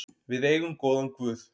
Við eigum góðan guð.